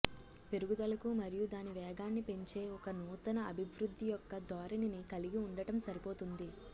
పెరుగుదలకు మరియు దాని వేగాన్ని పెంచే ఒక నూతన అభివృద్ధి యొక్క ధోరణిని కలిగి ఉండటం సరిపోతుంది